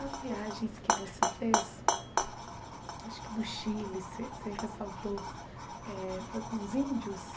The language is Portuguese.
As viagens que você fez, acho que do Chile, você você ressaltou eh, foi com os índios?